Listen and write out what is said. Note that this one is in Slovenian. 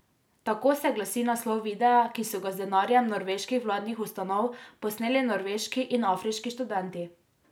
Tako se glasi naslov videa, ki so ga z denarjem norveških vladnih ustanov posneli norveški in afriški študenti.